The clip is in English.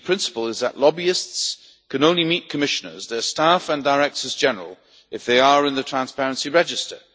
A key principle is that lobbyists can only meet Commissioners, their staff and Directors General if they are in the Transparency Register.